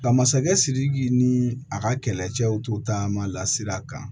Nka masakɛ sidiki ni a ka kɛlɛcɛw to taama la sira kan